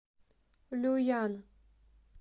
люян